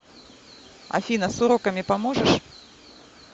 афина с уроками поможешь